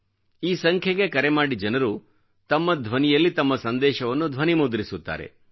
ಈ ಸಂಖ್ಯೆಗೆ ಕರೆ ಮಾಡಿ ಜನರು ತಮ್ಮ ಧ್ವನಿಯಲ್ಲಿ ತಮ್ಮ ಸಂದೇಶವನ್ನು ಧ್ವನಿಮುದ್ರಿಸುತ್ತಾರೆ